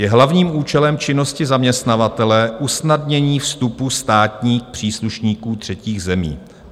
Je hlavním účelem činnosti zaměstnavatele usnadnění vstupu státních příslušníků třetích zemí."